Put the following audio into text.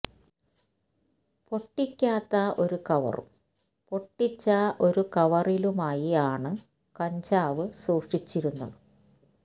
പൊട്ടിക്കാത്ത ഒരു കവറും പൊട്ടിച്ച ഒരു കവറിലുമായി ആണ് കഞ്ചാവ് സൂക്ഷിച്ചിരുന്നത്